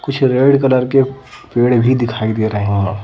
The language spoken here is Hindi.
कुछ रेड कलर के पेड़ भी दिखाई दे रहे हैं ।